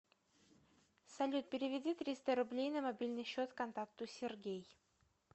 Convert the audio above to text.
салют переведи триста рублей на мобильный счет контакту сергей